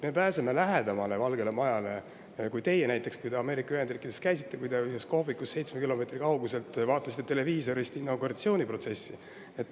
Me pääseme Valgele Majale lähemale kui pääsesite näiteks teie, kui te Ameerika Ühendriikides käisite ja ühes kohvikus seitsme kilomeetri kauguselt vaatasite televiisorist inauguratsiooniprotsessi.